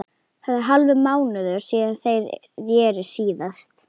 Það er hálfur mánuður síðan þeir reru síðast.